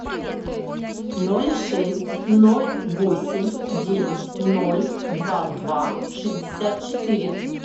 ноль шесть ноль восемь девять ноль два два шестьдесят четыре